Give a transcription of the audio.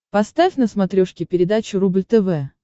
поставь на смотрешке передачу рубль тв